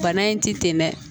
Bana in ti ten dɛ